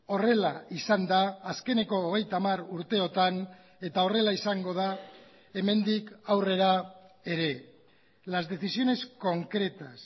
horrela izan da azkeneko hogeita hamar urteotan eta horrela izango da hemendik aurrera ere las decisiones concretas